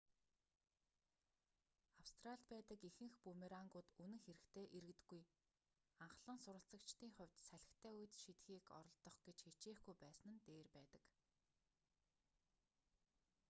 австралид байдаг ихэнх бүүмерангууд үнэн хэрэгтээ эргэдэггүй анхлан суралцагчдын хувьд салхитай үед шидэхийг оролдох гэж хичээхгүй байсан нь дээр байдаг